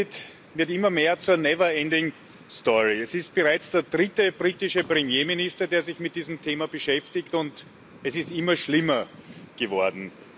Der Brexit wird immer mehr zur Es ist bereits der dritte britische Premierminister, der sich mit diesem Thema beschäftigt, und es ist immer schlimmer geworden.